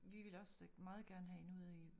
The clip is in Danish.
Vi ville også meget gerne have hende ud i